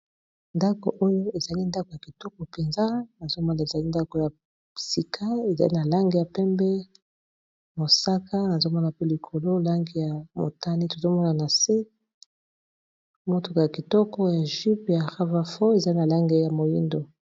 ndako oyo ezali ndako ya kitoko mpenza nazomona ezali ndako ya psika ezali na lange ya pembe mosaka nazomona pe likolo lange ya motani tozomona na se motoko ya kitoko ya jupe ya rava fo ezali na lange ya moindo